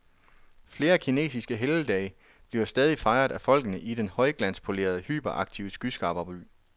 Flere kinesiske helligdage bliver stadig fejret af folkene i den højglanspolerede, hyperaktive skyskraberby.